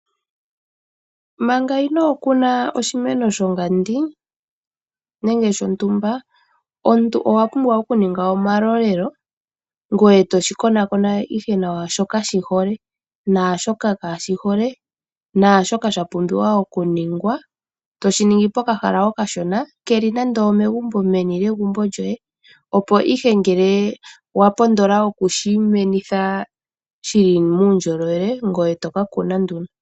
Manga inookuna oshimeno shongandi nenge shontumba omuntu owa pumbwa oku ninga omalolelo ngoye toshi konakona ihe nawa shoka shi hole naashoka kaashi hole naashoka sha pumbiwa oku ningwa, toshiningi pokahala okashona keli nande omegumbo, meni lyegumbo lyoye opo ihe ngele wa pondola okushimenitha shi li muundjolowele ngoye to ka kuna nduno.